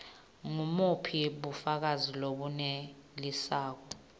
ngubuphi bufakazi lobunelisako